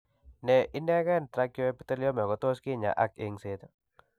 Ne inegen trichoepithelioma kotos kinyaay ak engset.